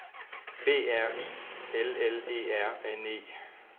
B R I L L E R N E